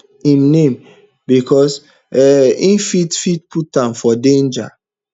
im name becos um e fit fit put am for danger